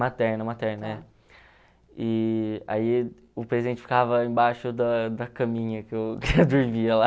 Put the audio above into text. Materna, materna, é. E aí o presente ficava embaixo da da caminha que eu que eu dormia lá.